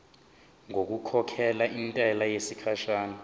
ngokukhokhela intela yesikhashana